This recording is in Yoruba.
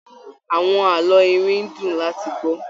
Àwọn àlọ́ iwin ń dùn láti gbọ́.